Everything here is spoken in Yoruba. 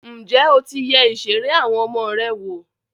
Ǹjẹ́ o ti yẹ ìṣeré àwọn ọmọ rẹ wò?